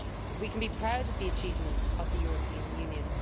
We can be proud of the achievements of the European Union.